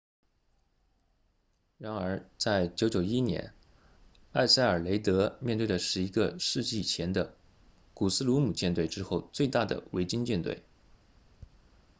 然而在991年埃塞尔雷德面对的是一个世纪前的古斯鲁姆舰队之后最大的维京舰队